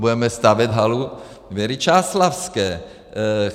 Budeme stavět halu Věry Čáslavské.